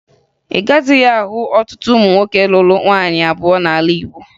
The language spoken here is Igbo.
Ị gaghịzị ahụ ọtụtụ ụmụ nwoke lụrụ nwaanyị abụọ n'ala Igbo